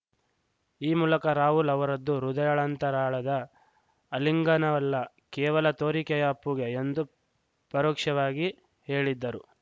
ಈ ಮೂಲಕ ರಾಹುಲ್‌ ಅವರದ್ದು ಹೃದಯಾಂಳಂತರಾಳದ ಅಲಿಂಗನವಲ್ಲ ಕೇವಲ ತೋರಿಕೆಯ ಅಪ್ಪುಗೆ ಎಂದು ಪರೋಕ್ಷವಾಗಿ ಹೇಳಿದ್ದರು